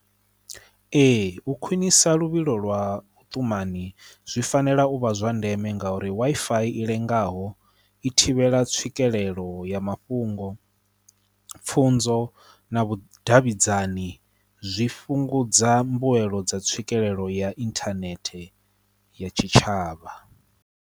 Ee, u khwinisa luvhilo lwa vhutumani zwi fanela u vha zwa ndeme ngauri Wi-Fi i lengaho i thivhela tswikelelo ya mafhungo, pfhunzo na vhudavhidzani zwi fhungudza mbuelo dza tswikelelo ya inthanethe ya tshitshavha.